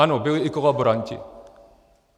Ano, byli i kolaboranti.